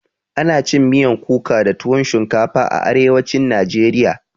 Ana cin miyan kuka da tuwon shinkafa a arewacin najeriya